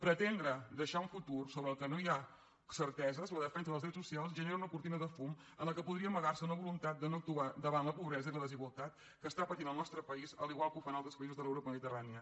pretendre deixar a un futur sobre el qual no hi ha certeses la defensa dels drets socials genera una cortina de fum en la qual podria amagar se una voluntat de no actuar davant la pobresa i la desigualtat que està patint el nostre país a l’igual que ho fan altres països de l’europa mediterrània